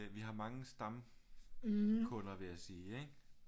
Vi har mange stamkunder vil jeg sige ikke